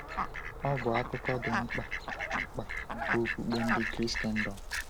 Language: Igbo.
Ọ bụ akụkụ dị mkpa mkpa nke okpukpe ndị Kraịstndọm.